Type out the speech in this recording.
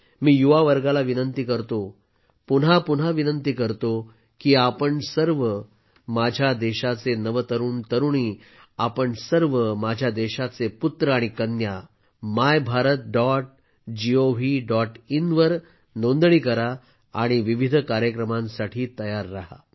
मी युवा वर्गाला विनंती करतो पुन्हा पुन्हा विनंती करतो की आपण सर्व माझ्या देशाचे नवतरुणतरुणी आपण सर्व माझ्या देशाचे पुत्र आणि कन्या my Bharat dot gov dot in वर नोंदणी करा आणि विविध कार्यक्रमांसाठी तयार राहा